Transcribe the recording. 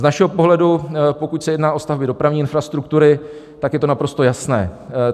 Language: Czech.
Z našeho pohledu, pokud se jedná o stavby dopravní infrastruktury, tak je to naprosto jasné.